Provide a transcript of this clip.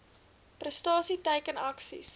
prestasie teiken aksies